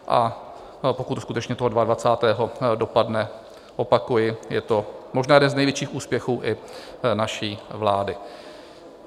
A pokud skutečně to 22. dopadne, opakuji, je to možná jeden z největších úspěchů i naší vlády.